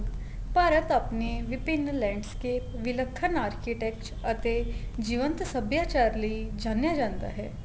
ਭਾਰਤ ਆਪਣੇ ਵਿਪਿਨ landscape ਵਿੱਲਖਣ architect ਅਤੇ ਜੀਵੰਤ ਸੱਭਿਆਚਾਰ ਲਈ ਜਾਣਿਆ ਜਾਂਦਾ ਹੈ